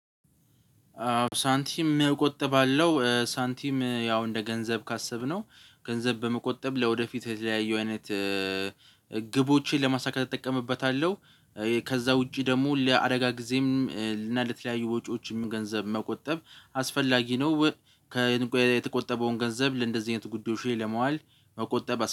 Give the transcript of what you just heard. ሳንቲም መቆጠብ አለው ሳንቲም ያው እንደ ገንዘብ ካሰብነው ገንዘብ በመቆጠብ ለወደፊት የተለያየ አይነት ግቦችን ለማሳካት እጠቀምበታለሁ። ከዛ ውጪ ደግሞ ለአደጋ ጊዜም እና ለተለያዩ ወጪዎችም ገንዘብ መቆጠብ አስፈላጊ ነው። የተቆጠበውን ገንዘብ ለእንደዚህ አይነት ጉዳዮች ለማዋል መቆጠብ